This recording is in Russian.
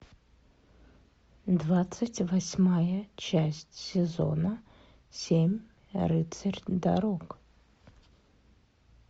двадцать восьмая часть сезона семь рыцарь дорог